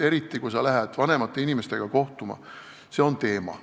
Eriti, kui sa lähed vanemate inimestega kohtuma, see on teema.